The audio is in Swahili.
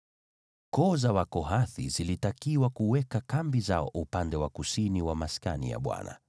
Koo za Wakohathi zilitakiwa kuweka kambi zao upande wa kusini wa Maskani.